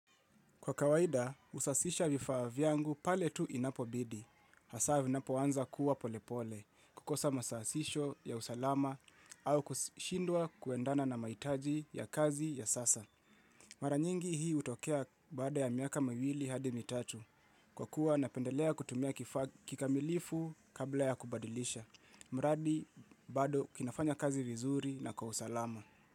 Kwa kawaida, usafisha vifaa vyangu pale tu inapo bidi. Hasa vinapo anza kuwa polepole kukosa masahihisho ya usalama au kushindwa kuendana na maitaji ya kazi ya sasa. Mara nyingi hii utokea baada ya miaka mawili hadi mitatu kwa kuwa napendelea kutumia kifaa kikamilifu kabla ya kubadilisha. Mradi bado kinafanya kazi vizuri na kwa usalama.